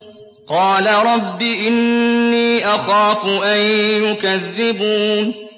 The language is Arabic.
قَالَ رَبِّ إِنِّي أَخَافُ أَن يُكَذِّبُونِ